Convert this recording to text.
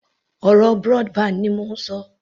Ọ̀rọ̀ broadband ni mò ń ṣọ